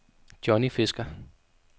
Johnny Fisker